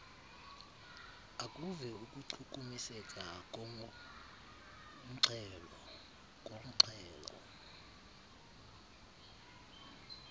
akuve ukuchukumiseka kornxhelo